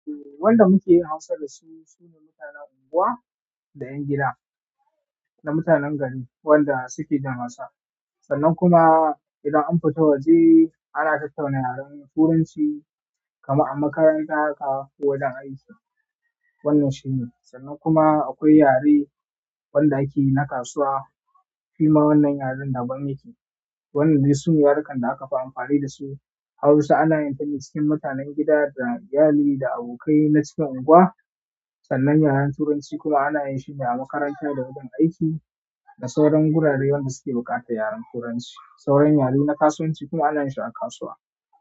Wanda muke yin hausa da su, sune mutanen unguwa da 'yan gida, da mutanen gari wanda suke jin hausa. Sannan kuma idan an fita waje ana tattauna yaren Turanci kamar a makaranta haka ko wajen aiki. Wannan shine. Sannan kuma akwai yare wanda ake yi na kasuwa. Shi ma wannan yaren daban yake. Wannan dai su ne yarukan da aka fi amfani da su. Hausa ana yin ta ne cikin mutanen gida da iyali da abokai na cikin unguwa. Sannan yaren Turanci kuwa ana yin shi ne a makaranta da wurin aiki, da sauran wuraren wanda suke buƙatar yaren Turanci. Sauran yare na kasuwanci kuma ana shi a kasuwa.